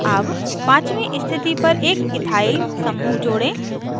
add पाँचवी स्थिति पर एक ethyl समूह जोड़ें